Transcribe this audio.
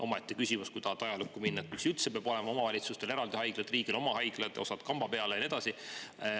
Omaette küsimus on, kui tahta ajaloos tagasi minna, miks üldse peavad olema omavalitsustel eraldi haiglad ja riigil oma haiglad, osa kamba peale ja nii edasi.